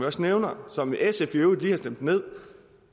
også nævner og som sf i øvrigt lige har stemt ned